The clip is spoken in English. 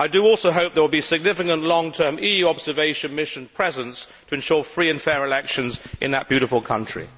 I also hope there will be a significant long term EU observation mission presence to ensure free and fair elections in that beautiful country.